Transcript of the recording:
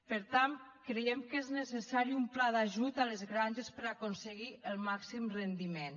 per tant creiem que és necessari un pla d’ajut a les granges per aconseguir el màxim rendiment